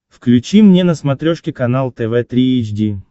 включи мне на смотрешке канал тв три эйч ди